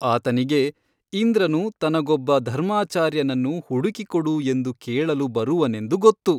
ಆತನಿಗೆ ಇಂದ್ರನು ತನಗೊಬ್ಬ ಧರ್ಮಾಚಾರ್ಯನನ್ನು ಹುಡುಕಿಕೊಡು ಎಂದು ಕೇಳಲು ಬರುವನೆಂದು ಗೊತ್ತು.